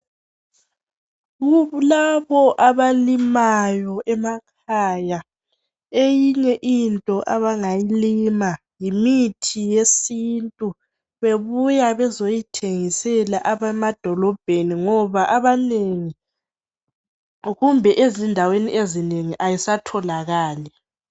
Kulabo abalimayo emakhaya, eyinye into abangayilima yimithi yesintu, bebuya bezoyithengisela abntu bemadolobheni ngoba abanengi, kumbe endaweni ezinengiayisatholakali.